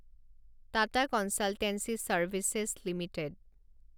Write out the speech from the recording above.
Tata consultancy services limited